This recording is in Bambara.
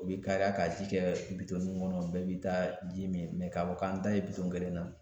O bi kariya ka ji kɛ bitɔnninw kɔnɔ bɛɛ bi taa ji mi ka fɔ k'an da ye bitɔn kelen na